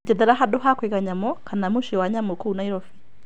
Njethera handũ ha kũiga nyamũ kana muciĩ wa nyamũ kũu Naĩrobĩ .